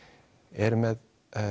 er með